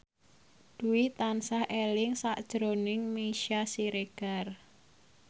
Dwi tansah eling sakjroning Meisya Siregar